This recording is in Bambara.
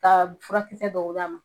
Ka furakisɛ dɔw d'a ma .